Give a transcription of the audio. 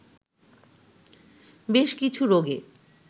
বেশ কিছু রোগে